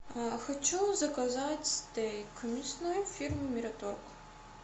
хочу заказать стейк мясной фирмы мираторг